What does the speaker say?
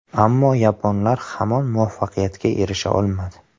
Ammo yaponlar hamon muvaffaqiyatga erisha olmadi.